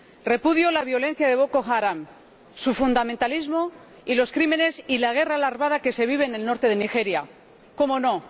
Repudio la violencia de Boko Haram y su fundamentalismo, así como los crímenes y la guerra larvada que se vive en el norte de Nigeria —¡cómo no!—,